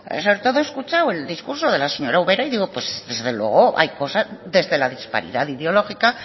pero sobre todo he escuchado el discurso de la señora ubera y digo pues desde luego hay cosas desde la disparidad ideológica